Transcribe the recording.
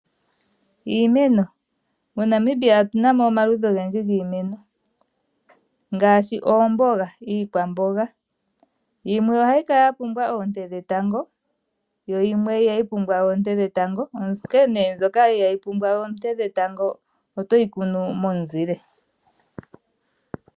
Iimeno, moNamibia otuna mo omaludhi ogendji giimeno, ngaashi oomboga, iikwamboga. Yimwe ohayi kala ya pumbwa oonte dhetango, yo yimwe ihayi pumbwa oonte dhetango, onkee nee mbyoka inayi pumbwa oonte dhetango otoyi kunu momuzile.